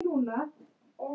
Byggt á